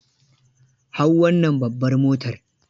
Hau wannan babbar motar.